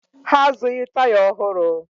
Ha azụghị taya ọhụrụ